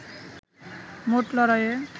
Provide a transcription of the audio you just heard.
মোট লড়াইয়ে